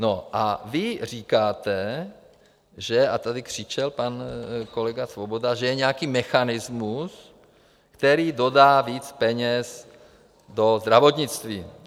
No a vy říkáte, že - a tady křičel pan kolega Svoboda - že je nějaký mechanismus, který dodá víc peněz do zdravotnictví.